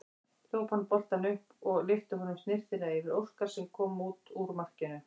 Hljóp hann boltann upp og lyfti honum snyrtilega yfir Óskar sem kom út úr markinu.